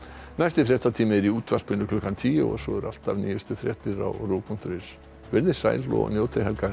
næsti fréttatími er í útvarpinu klukkan tíu og svo eru alltaf nýjustu fréttir á punktur is veriði sæl og njótið helgarinnar